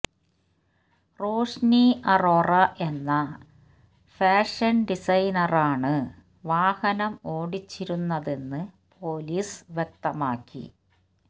റോഷ്നി അറോറ എന്ന ഫാഷന് ഡിസൈനറാണ് വാഹനം ഓടിച്ചിരുന്നതെന്ന് പൊലീസ് വ്യക്തമാക്കി